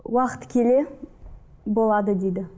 уақыт келе болады дейді